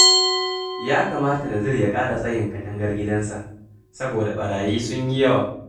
Ya kamata Nazir ya kara tsayin katangar gidansa, saboda ɓarayi sun yi yawa